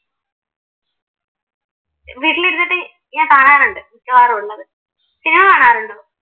ഞാൻ കാണാറുണ്ട് മിക്കവാറും ഉള്ളത് സിനിമ കാണാറുണ്ടോ?